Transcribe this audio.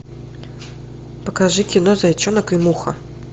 покажи кино зайчонок и муха